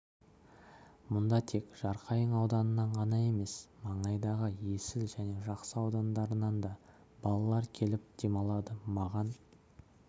мұнда тек жарқайың ауданынан ғана емес маңайдағы есіл және жақсы аудандарынан да балалар келіп демалады маған